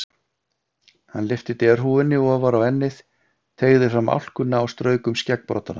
Hann lyfti derhúfunni ofar á ennið, teygði fram álkuna og strauk um skeggbroddana.